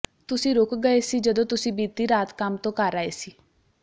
ਤੁਸੀਂ ਰੁਕ ਗਏ ਸੀ ਜਦੋਂ ਤੁਸੀਂ ਬੀਤੀ ਰਾਤ ਕੰਮ ਤੋਂ ਘਰ ਆਏ ਸੀ